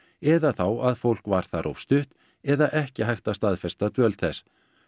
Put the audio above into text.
eða þá að fólk var þar of stutt eða ekki hægt að staðfesta dvöl þess